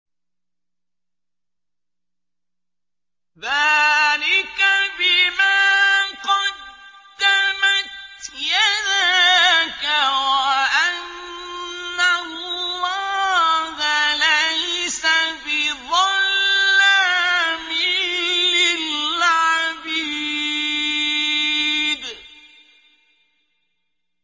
ذَٰلِكَ بِمَا قَدَّمَتْ يَدَاكَ وَأَنَّ اللَّهَ لَيْسَ بِظَلَّامٍ لِّلْعَبِيدِ